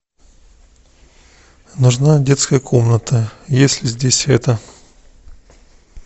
нужна детская комната есть ли здесь это